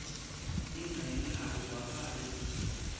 tincenye akuvakali kutsi